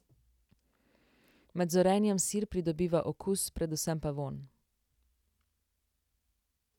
Med zorenjem sir pridobiva okus, predvsem pa vonj.